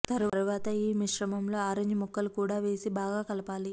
తరువాత ఈ మిశ్రమంలో ఆరెంజ్ ముక్కలు కూడా వేసి బాగా కలపాలి